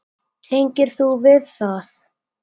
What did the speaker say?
Tengir þú við það?